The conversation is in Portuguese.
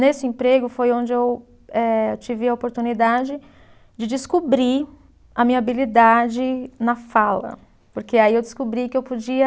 Nesse emprego foi onde eu eh, tive a oportunidade de descobrir a minha habilidade na fala, porque aí eu descobri que eu podia.